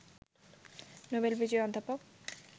Nobel বিজয়ী অধ্যাপক